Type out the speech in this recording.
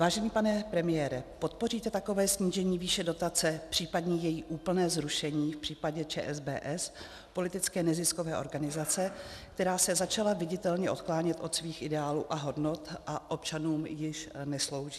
Vážený pane premiére, podpoříte takové snížení výše dotace, případně její úplné zrušení v případě ČSBS, politické neziskové organizace, která se začala viditelně odklánět od svých ideálů a hodnot a občanům již neslouží?